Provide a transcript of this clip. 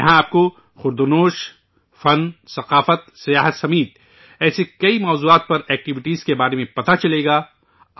یہاں آپ کو کھان پان، آرٹ، ثقافت، سیاحت سمیت ایسے کئی موضوعات پر ایکٹیوٹیز کے بارے میں پتہ چلے گا